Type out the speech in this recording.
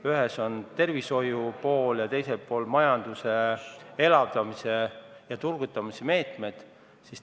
Ühes oleks olnud tervishoiu pool ja teises majanduse elavdamise ja turgutamise meetmed.